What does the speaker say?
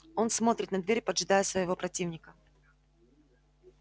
он смотрит на дверь поджидая своего противника